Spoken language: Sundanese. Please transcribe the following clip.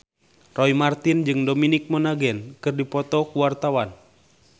Roy Marten jeung Dominic Monaghan keur dipoto ku wartawan